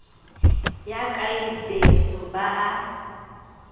yaka le beso ba a